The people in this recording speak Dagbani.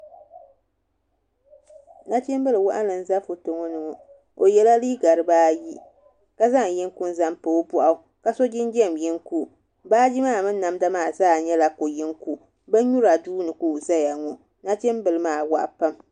Nachimbili waɣanli n ʒɛ foto ŋo ni ŋo o yɛla liiga dibaayi ka zaŋ yinga n zaŋ pa o boɣu ka so jinjɛm yinga baaji maa mini namda maa zaa nyɛla ko yinga bin nyura duuni ka o ʒɛya ŋo nachimbili maa waɣa pam